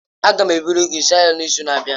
Aga m eburu gị zụọ ahịa n'izu na-abịa.